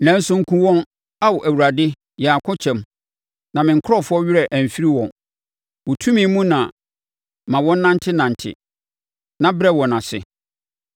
Nanso nkum wɔn, Ao Awurade yɛn akokyɛm, na me nkurɔfoɔ werɛ amfiri wɔn. Wo tumi mu no ma wɔnnantenante, na brɛ wɔn ase.